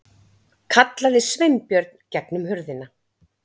kallaði Sveinbjörn gegnum hurðina.